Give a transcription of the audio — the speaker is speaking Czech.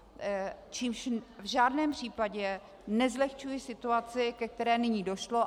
Čímž v žádném případě nezlehčuji situaci, ke které nyní došlo.